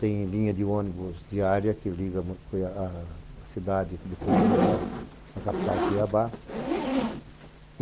Tem linha de ônibus diária que liga a cidade de Colniz à capital, Cuiabá.